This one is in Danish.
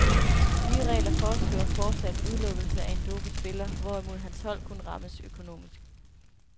De nye regler foreskriver fortsat udelukkelse af en dopet spiller, hvorimod hans hold kun rammes økonomisk.